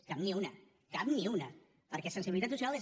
cap ni una cap ni una perquè sensibilitat social és